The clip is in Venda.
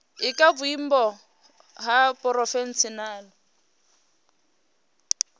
i kha vhuimo ha phurofeshinala